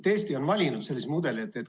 Eesti on valinud sellise mudeli.